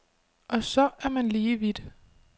Og så er man lige vidt.